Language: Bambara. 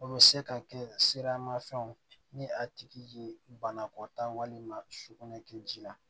O bɛ se ka kɛ sirama fɛnw ni a tigi ye banakɔtaa walima sugunɛ kɛ ji la